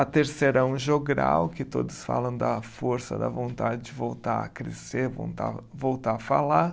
A terceira é um jogral, que todos falam da força, da vontade de voltar a crescer, vontar, voltar a falar.